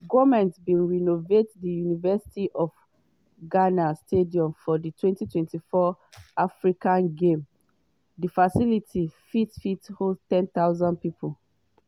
goment bin renovate di university of ghana stadium for di 2024 africa games; di facility fit fit host 10000 pipo.